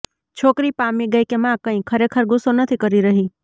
છોકરી પામી ગઈ કે મા કંઈ ખરેખર ગુસ્સો નથી કરી રહી